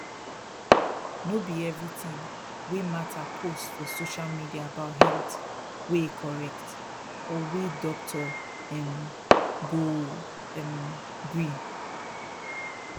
no be everything wey martha post for social media about health wey correct or wey doctor um go um gree